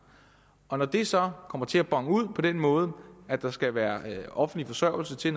når det så kommer til at bone ud på den måde at der skal være offentlig forsørgelse til